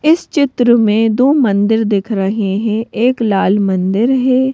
इस चित्र में दो मंदिर दिख रहे हैं एक लाल मंदिर है।